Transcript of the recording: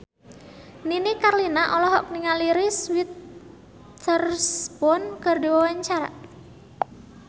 Nini Carlina olohok ningali Reese Witherspoon keur diwawancara